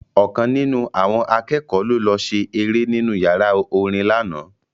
Ọ̀kan nínú àwọn akẹ́kọ̀ọ́ ló lọ ṣe eré nínú yàrá orin lánàá